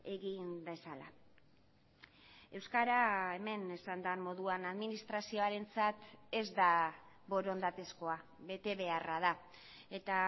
egin dezala euskara hemen esan den moduan administrazioarentzat ez da borondatezkoa betebeharra da eta